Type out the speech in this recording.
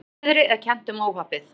Hvassviðri er kennt um óhappið